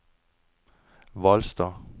Hvalstad